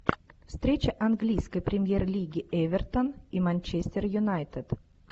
встреча английской премьер лиги эвертон и манчестер юнайтед